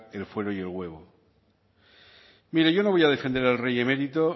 el fuero y el huevo mire yo no voy a defender al rey emérito